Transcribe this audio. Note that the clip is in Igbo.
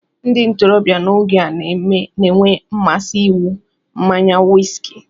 Ndị ntorobịa n'oge a na-enwe mmasị ịnwụ mmanya wiski